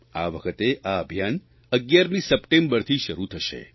આ વખતે આ અભિયાન 11મી સપ્ટેમ્બરથી શરૂ થશે